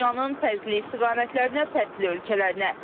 Dünyanın fərqli istiqamətlərinə, fərqli ölkələrinə.